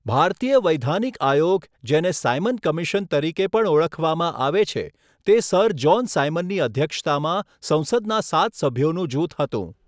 ભારતીય વૈધાનિક આયોગ, જેને સાયમન કમિશન તરીકે પણ ઓળખવામાં આવે છે, તે સર જ્હોન સાયમનની અધ્યક્ષતામાં સંસદના સાત સભ્યોનું જૂથ હતું.